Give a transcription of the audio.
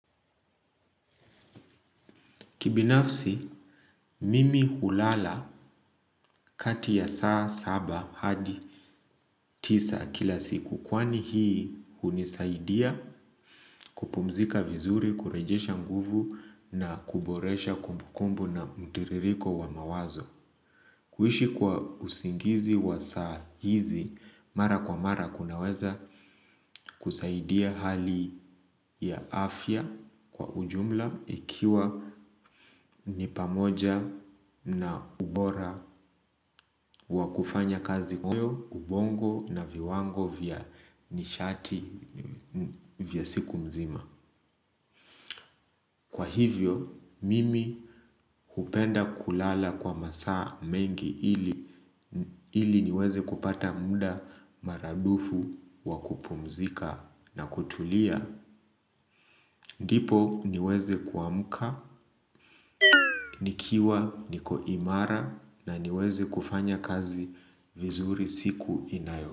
Kibinafsi, mimi hulala kati ya saa saba hadi tisa kila siku kwani hii unisaidia kupumzika vizuri, kurejesha nguvu na kuboresha kumbukumbu na mutiririko wa mawazo. Kuhishi kwa usingizi wa sahizi, mara kwa mara kunaweza kusaidia hali ya afya kwa ujumla ikiwa nipamoja na ubora wa kufanya kazi kuyo, ubongo na viwango vya nishati vya siku mzima. Kwa hivyo, mimi kupenda kulala kwa masaa mengi ili niweze kupata muda maradufu wakupumzika na kutulia. Ndipo niweze kuamuka, nikiwa, nikoimara na niweze kufanya kazi vizuri siku inayo.